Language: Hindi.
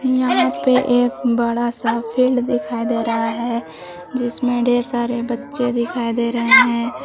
यहां पे एक बड़ा सा फील्ड दिखाई दे रहा है जिसमें ढेर सारे बच्चे दिखाई दे रहे हैं।